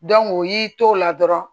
u y'i to o la dɔrɔn